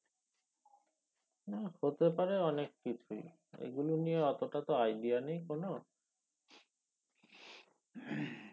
না হতে পারে অনেক কিছুই এগুলো নিয়ে তো অতটা idea নেই কোন